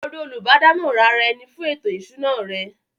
Lọ rí “ Olùbádámọ̀ràn ara-ẹni fún ètò ìṣúná” rẹ!